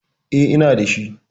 Eh, ina da shi.